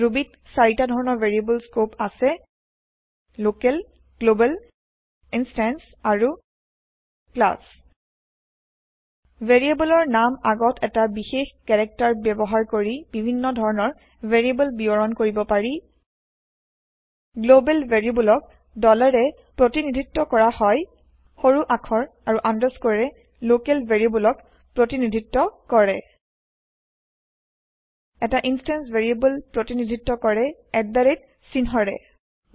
ৰুবীত চাৰিটা ধৰণৰ variable scope আছে লকেল গ্লবেল ইনষ্টেন্চ আৰু ক্লাছ ভেৰিয়েব্লৰ নামৰ আগত এটা বিশেষ কেৰেকটাৰ ব্যৱহাৰ কৰি বিভিন্ন ধৰণৰ ভেৰিয়েব্ল বিৱৰণ কৰিব পাৰি গ্লোবাল ভেৰিয়েব্লক ৰে প্ৰতিনিধিত্ব কৰা হয় সৰু আখৰ আৰু আনদাৰস্কৌৰে লোকেল ভেৰিয়েব্লক প্ৰতিনিধিত্ব কৰে এটা ইনষ্টেন্স ভেৰিয়েব্ল প্ৰতিনিধিত্ব কৰে চিহ্নৰে